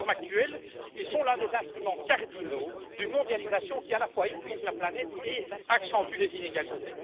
En leur forme actuelle, ils sont des instruments cardinaux d'une mondialisation qui, à la fois, épuise la planète et accentue les inégalités.